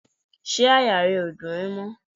Ṣé àyà rẹ ó dùn ẹ mọ́?